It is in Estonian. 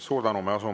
Suur tänu!